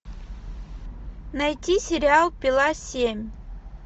найти сериал пила семь